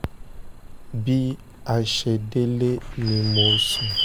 bí a ṣe délé ni mo sùn